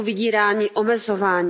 Jsou vydíráni, omezováni.